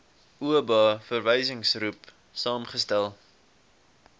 oba verwysingsgroep saamgestel